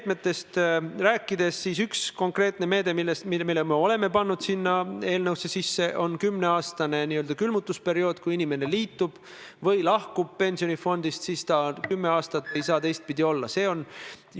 Tõepoolest, et kõrvaldada see kahetsusväärne möödarääkimine, et ühe seaduse arutelul jäi kahetsusväärsel kombel kõrvale Eesti Puuetega Inimeste Koda, ütlen täpsustuseks niipalju, et Majandus- ja Kommunikatsiooniministeerium kooskõlastas seda seadust Sotsiaalministeeriumiga.